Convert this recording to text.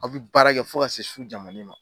Aw bɛ baara kɛ fo ka se su jan mani ma